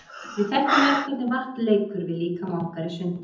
Við þekkjum öll hvernig vatn leikur við líkama okkar í sundi.